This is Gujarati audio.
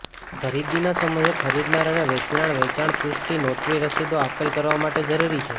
ખરીદીના સમયે ખરીદનાર અને વેચનાર વેચાણ પુષ્ટિ નોટરી રસીદો આપલે કરવા માટે જરૂરી છે